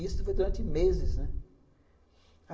Isso foi durante meses, né?